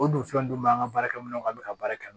O dun fɛn dun b'an ka baarakɛminɛnw k'an bɛ ka baara kɛ